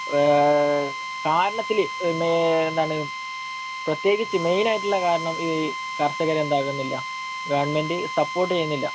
അഹ് കാരണത്തില്, എന്താണ്, പ്രത്യകിച്ച് മെയിനായിട്ടുള്ള കാരണം ഈ കർഷകരെ എന്താക്കുന്നില്ല, ഗവണ്മെന്റ് സപ്പോർട്ട് ചെയ്യുന്നില്ല.